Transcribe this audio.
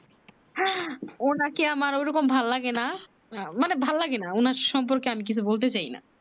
ওনাকে ওরকম আমার ভালো লাগে না আহ মানে ভালো লাগে না ওনার সম্পর্কে আমি কিছু বলতে চাই না